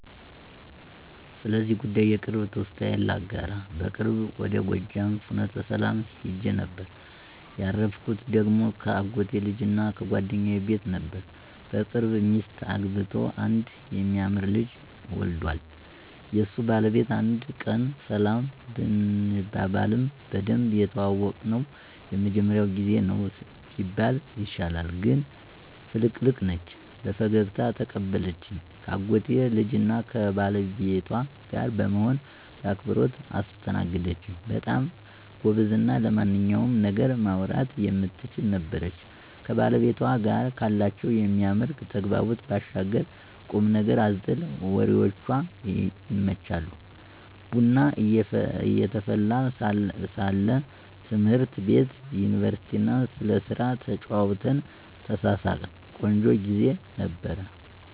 ስለዚህ ጉዳይ የቅርብ ትውስታዬን ላጋራ። በቅርቡ ወደ ጎጃም ፍኖተሰላም ሂጄ ነበር። ያረፍኩ ደግሞ ከአጎቴ ልጅና ጓደኛዬ ቤት ነበር። በቅርብ ሚስት አግብቶ አንድ የሚያምር ልጅ ዎልዷል። የሱ ባለቤት አንድ ቀን ሰላም ብንባባልም በደንብ የተዋወቅነው የመጀመሪያው ጊዜ ነው ቢባል ይሻላል። ግን ፍልቅልቅ ነች። በፈገግታ ተቀበለችኝ ከአጎቴ ልጅና ከባለቤቷ ጋር በመሆን በአክብሮት አስተናገደኝች። በጣም ጎበዝና ስለማንኛውም ነገር ማውራት የምትችል ነበረች። ከባለቤቷ ጋር ካላቸው የሚያምር ተግባቦት ባሻገር ቁምነገር አዘል ወሬዎቿ ይመቻሉ። ቡና እየተፈላ ስለ ትምህርት ቤት፣ ዩኒቨርስቲና ስለስራ ተጨዋወትን፣ ተሳሳቅን። ቆንጆ ግዜ ነበር።